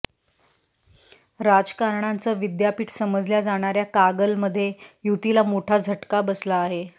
राजकारणाचं विद्यापीठ समजल्या जाणाऱ्या कागलमध्ये युतीला मोठा झटका बसला आहे